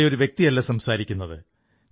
അവിടെ ഒരു വ്യക്തിയല്ല സംസാരിക്കുന്നത്